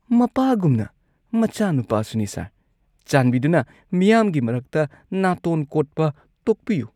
ꯃꯄꯥꯒꯨꯝꯅ, ꯃꯆꯥꯅꯨꯄꯥꯁꯨ ꯅꯤ꯫ ꯁꯔ, ꯆꯥꯟꯕꯤꯗꯨꯅ ꯃꯤꯌꯥꯝꯒꯤ ꯃꯔꯛꯇ ꯅꯥꯇꯣꯟ ꯀꯣꯠꯄ ꯇꯣꯛꯄꯤꯌꯨ꯫